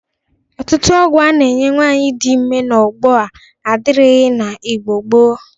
Ọtụtụ ọgwọ a na-enye nwaanyị dị ime n'ogbo a adịrighi n'Igbo gboo.